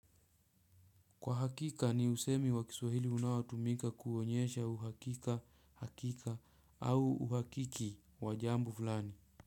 Kwa hakika, ni usemi wa kiswahili unawatumika kuonyesha uhakika, hakika au uhakiki wa jambo fulani.